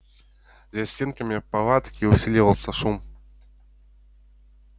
за стенками палатки усиливался шум